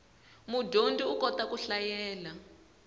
mudyondzi u kota ku hlayela